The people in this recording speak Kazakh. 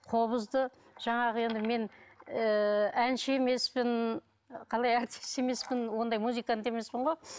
қобызды жаңағы енді мен ыыы әнші емеспін қалай әртіс емеспін ондай музыкант емеспін ғой